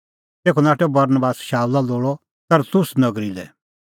तेखअ नाठअ बरनबास शाऊला लोल़अ तरसुस नगरी लै